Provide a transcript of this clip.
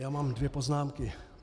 Já mám dvě poznámky.